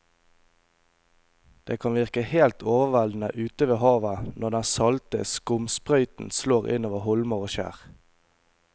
Det kan virke helt overveldende ute ved havet når den salte skumsprøyten slår innover holmer og skjær.